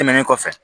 Tɛmɛnen kɔfɛ